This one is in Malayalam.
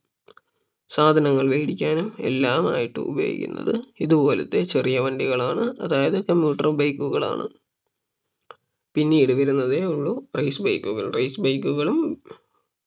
സാധനങ്ങൾ വേടിക്കാനും എല്ലാമായിട്ട് ഉപയോഗിക്കുന്നത് ഇതുപോലത്തെ ചെറിയ വണ്ടികളാണ് അതായത് commuter bike കളാണ് പിന്നീട് വരുന്നതേ ഉള്ളൂ race bike കൾ race bike കളും